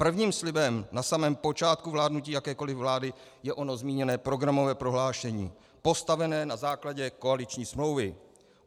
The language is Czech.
Prvním slibem na samém počátku vládnutí jakékoliv vlády je ono zmíněné programové prohlášení postavené na základě koaliční smlouvy.